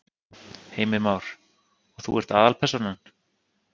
Heimir Már: Og þú ert aðalpersónan?